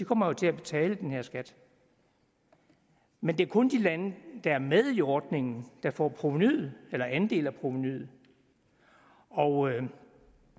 kommer jo til at betale den her skat men det er kun de lande der er med i ordningen der får provenuet eller en andel af provenuet og